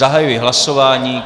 Zahajuji hlasování.